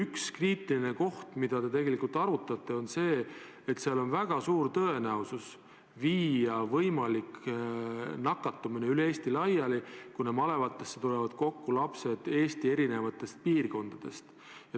Üks kriitiline küsimus, mida te arutate, on see, et tekib väga suur tõenäosus viia võimalik nakatumine üle Eesti laiali, kuna malevatesse tulevad kokku lapsed Eesti eri piirkondadest.